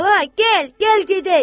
Bala, gəl, gəl gedək.